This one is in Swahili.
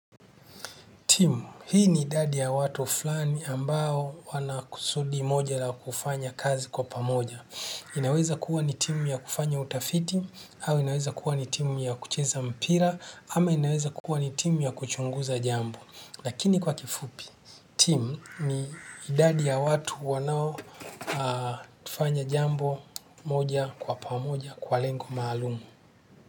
Timu, hii ni idadi ya watu fulani ambao wanakusudi moja la kufanya kazi kwa pamoja. Inaweza kuwa ni timu ya kufanya utafiti, au inaweza kuwa ni timu ya kucheza mpira, ama inaweza kuwa ni timu ya kuchunguza jambo. Lakini kwa kifupi, timu ni idadi ya watu wanaotufanya jambo moja kwa pamoja kwa lengo maalumu.